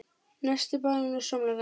Nesti: Banani og samloka